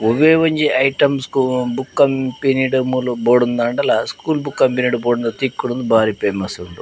ಒವೆ ಒಂಜಿ ಐಟಮ್ಸ್ ಗ್ ಬುಕ್ಕ್ ಕಂಪೆನಿಡ್ ಮೂಲು ಬೋಡುಂದಾಂಡಲ ಸ್ಕೂಲ್ ಬುಕ್ಕ್ ಕಂಪೆನಿಡ್ ಡ್ ಬೋಡುಂಡ ತಿಕ್ಕುಂಡ್ಂದ್ ಬಾರಿ ಫೇಮಸ್ ಉಂದು.